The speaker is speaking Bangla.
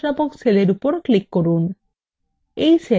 c10 নামক cell এর উপর click করুন